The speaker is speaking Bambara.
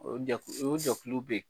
O jɛkulu o jɛkuluw bɛ yen